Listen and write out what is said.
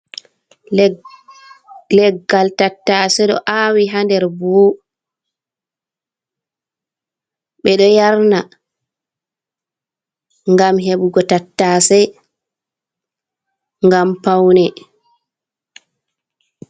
Leggal tattasey, ɗo aawi haa nder buhu, ɓe ɗo yarna, ngam heɓugo tattasey, ngam pawne.